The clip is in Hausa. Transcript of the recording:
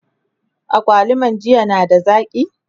agwaluman jiya na da zaki?